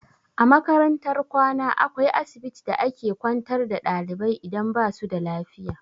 A makarantar kwana akwai asibiti da a ke kwantar da ɗalibai idan basu da lafiya.